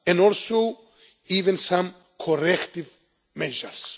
and also even some corrective measures.